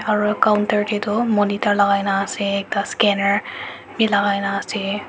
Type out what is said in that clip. aro counter dae tu monitor lagai na ase ekta scanner b lagai na ase.